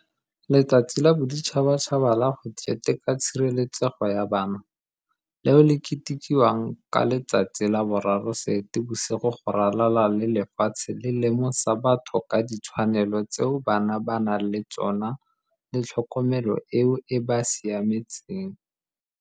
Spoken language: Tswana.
Letsatsi la Boditšhabatšhaba la go Keteka tshireletsego ya Bana, leo le ketekiwang ka la bo 03 Seetebosigo go ralala le lefatshe le lemosa batho ka ditshwanelo tseo bana ba nang le tsona le tlhokomelo eo e ba siametseng.